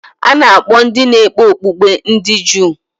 A na-akpọ ndị na-ekpe okpukpe ndị Juu.